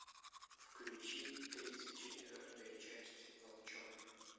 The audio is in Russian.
включи тридцать четвертая часть волчонок